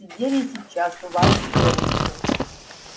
сидели сейчас у вас с девушкой